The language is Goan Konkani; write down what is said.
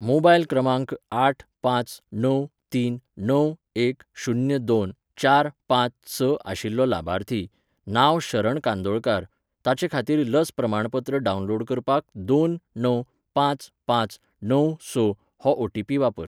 मोबायल क्रमांक आठ पांच णव तीन णव एक शुन्य दोन चार पांच स आशिल्लो लाभार्थी, नांव शरण कांदोळकार, ताचेखातीर लस प्रमाणपत्र डावनलोड करपाक दोन णव पांच पांच णव स हो ओ टी पी वापर.